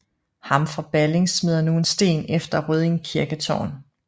Ham fra Balling smider nu en sten efter Rødding kirketårn